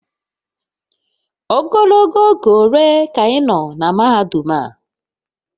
Ogologo oge ole ka ị nọ na mahadum a?